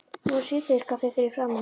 Nú er síðdegiskaffið fyrir framan mig.